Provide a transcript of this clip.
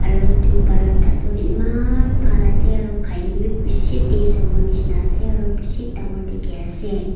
aru edu paratha toh eman bhal ase aro khai lae bi eman taste howo shina ase aro bishi dangor dikhiase.